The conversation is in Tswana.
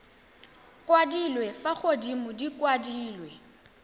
kwadilwe fa godimo di kwadilwe